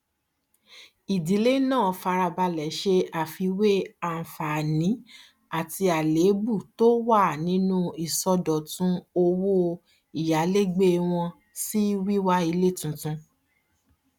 ìdílé náà farabalẹ ṣe àfiwé anfààní àti àlébù tí ó wà nínú ìsọdọtun owó ìyálégbé wọn sí wíwá ilé tuntun